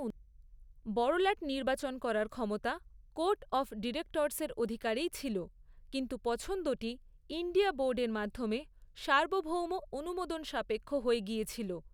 বড়লাট নির্বাচন করার ক্ষমতা কোর্ট অফ ডিরেক্টর্সের অধিকারেই ছিল, কিন্তু পছন্দটি ইন্ডিয়া বোর্ডের মাধ্যমে সার্বভৌম অনুমোদন সাপেক্ষ হয়ে গিয়েছিল।